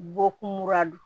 Bɔkun ra